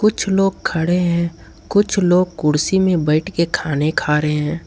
कुछ लोग खड़े हैं कुछ लोग कुर्सी में बैठ के खाने खा रहे हैं।